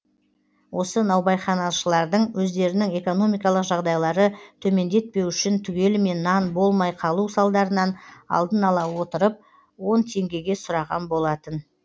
осы наубайханашылардың өздерінің экономикалық жағдайлары төмендетпеу үшін түгелімен нан болмай қалу салдарын алдын ала отырып он теңгеге сұраған болатын